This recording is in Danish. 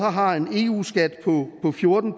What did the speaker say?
har en eu skat på fjorten